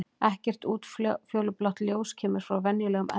Ekkert útfjólublátt ljós kemur frá venjulegum eldi.